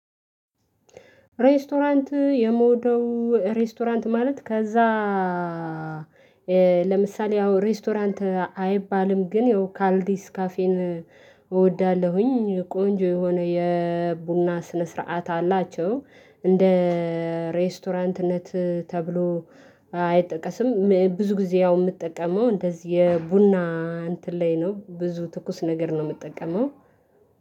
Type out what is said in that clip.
ሬስቶራንት የምወደው ሬስቶራንት ማለት ከዚያ ለምሳሌ አሁን ሬስቶራንት አይባልም ግን ያው ካልዲስ ካፌን እወዳለሁኝ ቆንጆ የሆነ የቡና ስነ ስርዓት አላቸው። እንደ ሬስቶራንትነት ተብሎ አይጠቀስም ብዙ ጊዜ ያው የምጠቀመው እንደዚህ የቡና እንትን ላይ ነው ብዙ ትኩስ ነገር ነው የምጠቀመው።